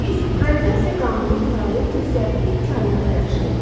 Biz qravitasiya qanununun fəaliyyət göstərdiyi kainatda yaşayırıq.